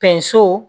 Pɛnso